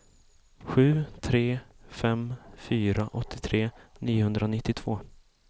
sju tre fem fyra åttiotre niohundranittiotvå